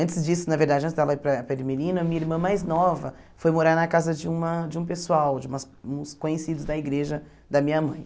Antes disso, na verdade, antes dela ir para para Ermelino, a minha irmã mais nova foi morar na casa de uma de um pessoal, de umas uns conhecidos da igreja da minha mãe.